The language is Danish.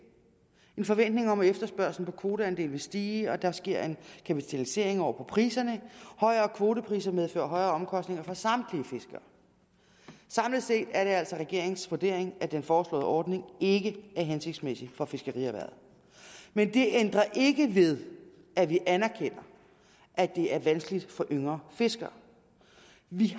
en forventning om at efterspørgslen på kvoteandele vil stige betyder at der sker en kapitalisering af priserne og højere kvotepriser medfører højere omkostninger for samtlige fiskere samlet set er det altså regeringens vurdering at den foreslåede ordning ikke er hensigtsmæssig for fiskerierhvervet men det ændrer ikke ved at vi anerkender at det er vanskeligt for yngre fiskere vi